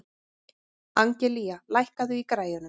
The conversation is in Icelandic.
Angelía, lækkaðu í græjunum.